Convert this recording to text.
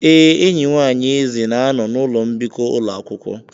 Ee, enyi nwanyị Eze na-anọ n'ụlọ mbikọ ụlọ akwụkwọ.